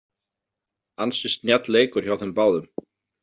Ansi snjall leikur hjá þeim báðum.